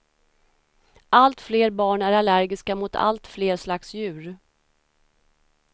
Allt fler barn är allergiska mot allt fler slags djur.